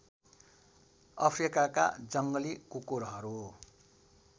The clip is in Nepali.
अफ्रिकाका जङ्गली कुकुरहरू